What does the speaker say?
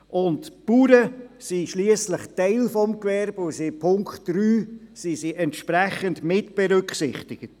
Die Bauern sind schliesslich Teil des Gewerbes, und sie sind im Punkt 3 entsprechend mitberücksichtigt.